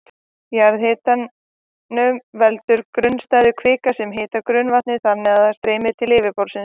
Jarðhitanum veldur grunnstæð kvika sem hitar grunnvatnið þannig að það streymir til yfirborðsins.